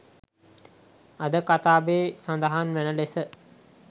අද කතාවේ සදහන් වෙන ලෙස